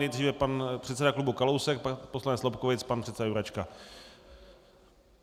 Nejdříve pan předseda klubu Kalousek, pak poslanec Lobkowicz, pan předseda Jurečka.